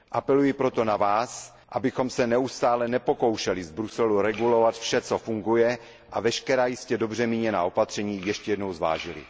Apeluji proto na vás, abychom se neustále nepokoušeli z Bruselu regulovat vše, co funguje, a veškerá jistě dobře míněná opatření ještě jednou zvážili.